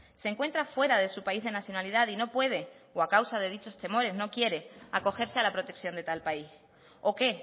se encuentra fuera de su país de nacionalidad y no puede o a causa de dichos temores no quiere acogerse a la protección de tal país o que